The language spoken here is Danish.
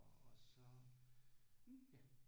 Og så ja